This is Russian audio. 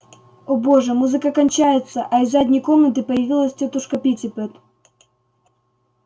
о боже музыка кончается а из задней комнаты появилась тётушка питтипэт